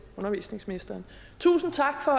undervisningsministeren tusind tak for